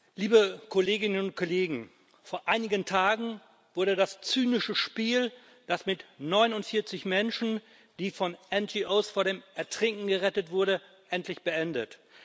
Frau Präsidentin, liebe Kolleginnen und Kollegen! Vor einigen Tagen wurde das zynische Spiel mit 49 Menschen, die von NGOs vor dem Ertrinken gerettet wurden, endlich beendet.